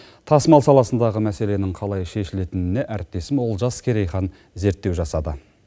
тасымал саласындағы мәселенің қалай шешілетініне әріптесім олжас керейхан зерттеу жасады